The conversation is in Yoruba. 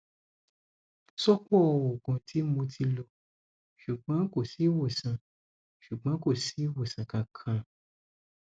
sopo oogun ti mo ti lo sugbon ko si iwosan sugbon kosi iwosan kankan